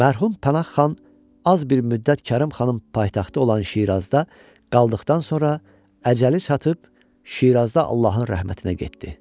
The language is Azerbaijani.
Mərhum Pənah xan az bir müddət Kərim xanın paytaxtı olan Şirazda qaldıqdan sonra əcəli çatıb Şirazda Allahın rəhmətinə getdi.